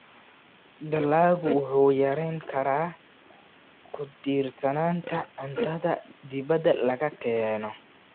Dalaggu wuxuu yarayn karaa ku tiirsanaanta cuntada dibadda laga keeno.